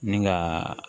Ni ka